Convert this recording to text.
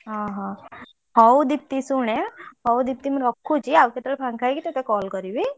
ଓହୋ ହଉ ଦୀପ୍ତି ଶୁଣେ ହଉ ଦୀପ୍ତି ମୁ ରଖୁଛି ଆଉ କେତେବେଳେ ଫାଙ୍କା ହେଇକି ତତେ call କରିବି।